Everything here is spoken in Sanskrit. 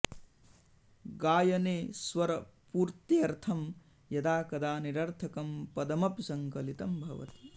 गायने स्वरपूर्त्र्यर्थं यदा कदा निरर्थकं पदमपि सङ्कलितं भवति